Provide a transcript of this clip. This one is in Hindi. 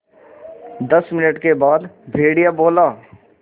दस मिनट के बाद भेड़िया बोला